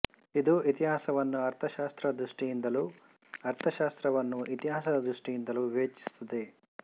ಇದು ಇತಿಹಾಸವನ್ನು ಅರ್ಥಶಾಸ್ತ್ರ ದೃಷ್ಟಿಯಿಂದಲೂ ಅರ್ಥಶಾಸ್ತ್ರವನ್ನು ಇತಿಹಾಸದ ದೃಷ್ಟಿಯಿಂದಲೂ ವಿವೇಚಿಸುತ್ತದೆ